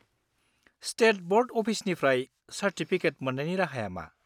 State board अफिसनिफ्राय certificate मोन्नायनि राहाया मा?